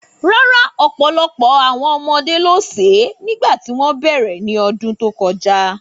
Rárá, ọ̀pọ̀lọpọ̀ àwọn ọmọdé ló sè é nígbà tí wọ́n bẹ̀rẹ̀ ní ọdún tó kọjá.